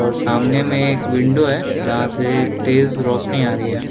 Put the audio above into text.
और सामने में एक विंडो है जहाँ से तेज़ रौशनी आ रही है।